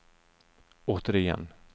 återigen